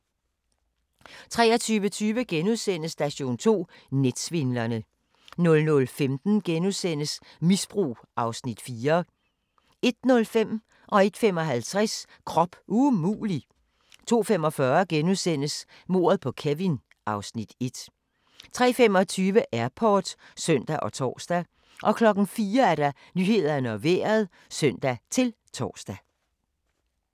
23:30: Station 2: Netsvindlerne * 00:15: Misbrug (Afs. 4)* 01:05: Krop umulig! 01:55: Krop umulig! 02:45: Mordet på Kevin (Afs. 1)* 03:25: Airport (søn og tor) 04:00: Nyhederne og Vejret (søn-tor)